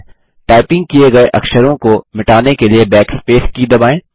type किये गये अक्षरों को मिटाने के लिए Backspace की दबाएँ